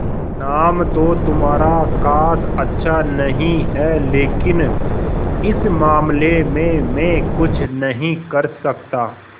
नाम तो तुम्हारा खास अच्छा नहीं है लेकिन इस मामले में मैं कुछ नहीं कर सकता